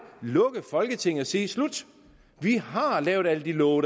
lukke folketinget og sige slut vi har lavet alle de love